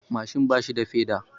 Mashin bashi da peda.